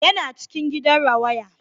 Yana cikin gidan rawaya